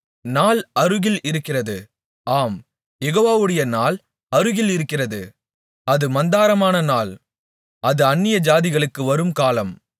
நாள் அருகில் இருக்கிறது ஆம் யெகோவாவுடைய நாள் அருகில் இருக்கிறது அது மந்தாரமான நாள் அது அந்நியஜாதிகளுக்கு வரும் காலம்